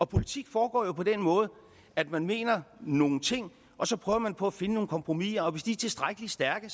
politik foregår jo på den måde at man mener nogle ting og så prøver man på at finde nogle kompromiser og hvis de er tilstrækkelig stærke